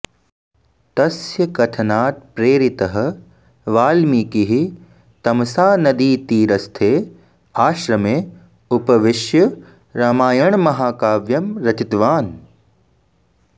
तस्य कथनात् प्रेरितः वाल्मीकिः तमसानदीतीरस्थे आश्रमे उपविश्य रामायणमहाकाव्यं रचितवान्